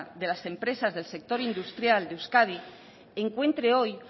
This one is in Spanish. de las empresas del sector industrial de euskadi encuentre hoy